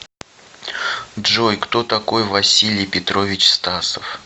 джой кто такой василий петрович стасов